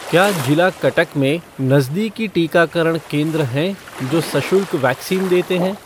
क्या जिला कटक में नज़दीकी टीकाकरण केंद्र हैं जो सशुल्क वैक्सीन देते हैं?